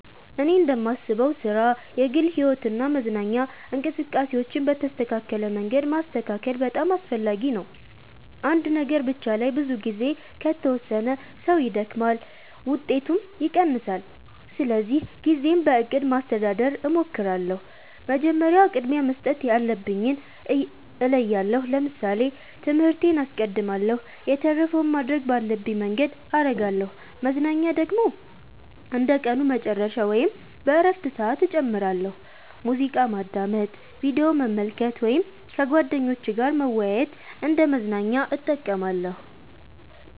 እኔ እንደማስበው ሥራ፣ የግል ሕይወት እና መዝናኛ እንቅስቃሴዎችን በተስተካከለ መንገድ ማስተካከል በጣም አስፈላጊ ነው። አንድ ነገር ብቻ ላይ ብዙ ጊዜ ከተወሰነ ሰው ይደክማል፣ ውጤቱም ይቀንሳል። ስለዚህ ጊዜን በእቅድ ማስተዳደር እሞክራለሁ። መጀመሪያ ቅድሚያ መስጠት ያለብኝን እለያለሁ ለምሳሌ ትምህርቴን አስቀድማለሁ የተረፈውን ማድረግ ባለብኝ መንገድ አረጋለሁ መዝናኛ ደግሞ እንደ ቀኑ መጨረሻ ወይም በእረፍት ሰዓት እጨምራለሁ። ሙዚቃ ማዳመጥ፣ ቪዲዮ መመልከት ወይም ከጓደኞች ጋር መወያየት እንደ መዝናኛ እጠቀማለሁ።